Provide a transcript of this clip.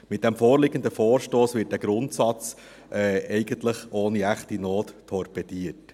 Mit dem vorliegenden Vorstoss wird der Grundsatz eigentlich ohne echte Not torpediert.